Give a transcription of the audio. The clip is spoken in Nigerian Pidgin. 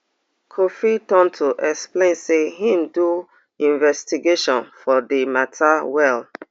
kofi tonto explain say im do investigation for di mata well